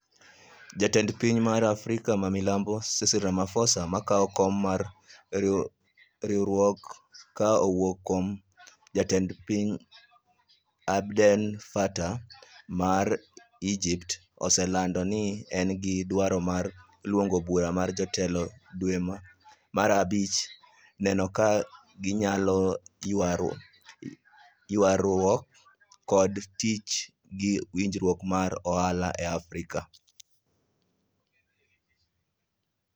Jatend piny mar Afrika ma Milambo Cyril Ramaphosa makao kom mar riwruogno ka owuok kuom jatend pind Abdel Fatta ma Egypt, oselando ni en gi dwaro mar luongo bura mar jotelo dwe mar abich neno kaka ginyalo ywaruok kod tiyo gi winjruok mar ohala e Afrika